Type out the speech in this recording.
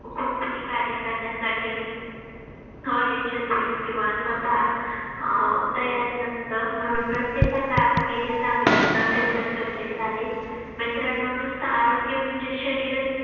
कोणतंही कार्य करण्यासाठी अयशस्वी किंवा स्वतः अह तयार नसतं म्हणून प्रत्येकाचं आरोग्य हे चांगलं असणं तेवढंच गरजेचं आहे. मित्रांनो, नुसत आरोग्य म्हणजे शरीरच